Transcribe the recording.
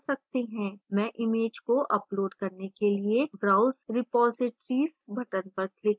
मैं image को upload करने के लिएbrowse repositories button पर click करूँगी